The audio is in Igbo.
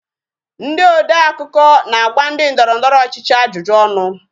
Ndị odeakụkọ na-agba ndị ndọrọndọrọ ọchịchị ajụjụ ọnụ